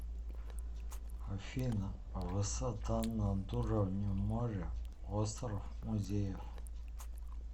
афина высота над уровнем моря остров музеев